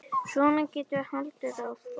Svona getum við haldið áfram.